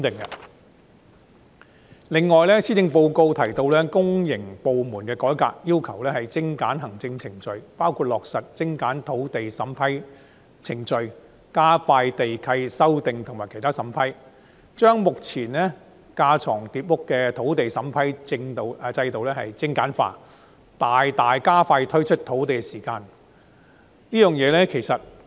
此外，施政報告提及公營部門改革，要求精簡行政程序，包括落實精簡土地審批程序、加快地契修訂和其他審批，將目前架床疊屋的土地審批制度精簡化，大大加快推出土地時間。